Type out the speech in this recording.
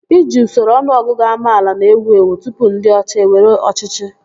Iji usoro ọnụọgụgụ amaala na-ewu ewu tụpụ ndị ọcha ewere ọchịchị